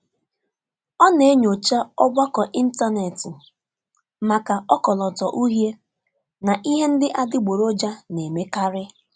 Ọ na-enyocha ọgbakọ ịntanetị maka ọkọlọtọ uhie na ihe ndị adịgboroja na-emekarị.